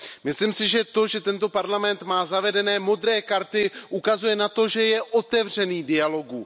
Myslím si, že to, že tento parlament má zavedeny modré karty, ukazuje na to, že je otevřený dialogu.